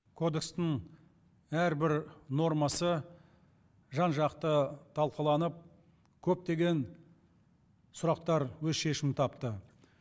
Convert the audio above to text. кодекстің әрбір нормасы жан жақты талқыланып көптеген сұрақтар өз шешімін тапты